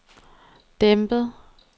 dæmpet